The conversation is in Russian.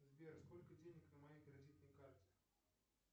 сбер сколько денег на моей кредитной карте